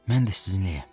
Mən də sizinləyəm.